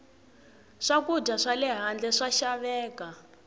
swakudya swale handle swa xaveka